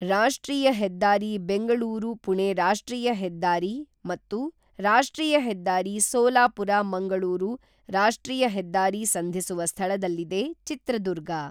ರಾಷ್ಟ್ರೀಯ ಹೆದ್ದಾರಿ ಬೆಂಗಳೂರುಪುಣೆ ರಾಷ್ಟ್ರೀಯ ಹೆದ್ದಾರಿ ಮತ್ತು ರಾಷ್ಟ್ರೀಯ ಹೆದ್ದಾರಿ ಸೋಲಾಪುರ ಮಂಗಳೂರು ರಾಷ್ಟ್ರೀಯ ಹೆದ್ದಾರಿ ಸಂಧಿಸುವ ಸ್ಥಳದಲ್ಲಿದೆ ಚಿತ್ರದುರ್ಗ